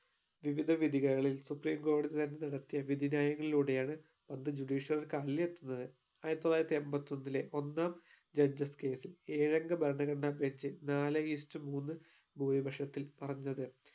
വിവിധ വിധികളിൽ supreme കോടതി തന്നെ നടത്തിയ വിധി ന്യയങ്ങളിലൂടെ ആണ് അന്ന് judiciary എത്തുന്നത് ആയിരത്തി തൊള്ളായിരത്തി എൺപത്തി ഒന്നിലെ ഒന്നാം judges case ൽ ഏഴ് അംഗ ഭരണഘടനാ bench ൽ നാലേ is to മൂന്ന് ഭൂരിപക്ഷത്തിൽ പറഞ്ഞത്.